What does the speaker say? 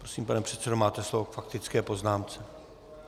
Prosím, pane předsedo, máte slovo k faktické poznámce.